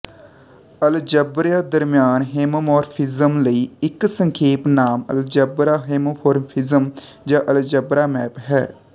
ਅਲਜਬਰਿਆਂ ਦਰਮਿਆਨ ਹੋਮੋਮੌਰਫਿਜ਼ਮ ਲਈ ਇੱਕ ਸੰਖੇਪ ਨਾਮ ਅਲਜਬਰਾ ਹੋਮੋਮੌਰਫਿਜ਼ਮ ਜਾਂ ਅਲਜਬਰਾ ਮੈਪ ਹੈ